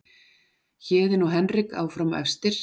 Héðinn og Henrik áfram efstir